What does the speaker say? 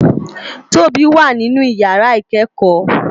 Tobi wá ninú iyàrá ikèékò